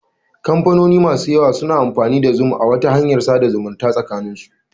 Kamfanoni masu yawa suna amfani da zoom a wata hanyar tsadarwa sakanin su.